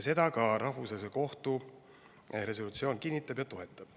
Seda Rahvusvahelise Kohtu resolutsioon ka kinnitab ja toetab.